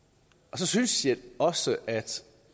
så synes jeg også at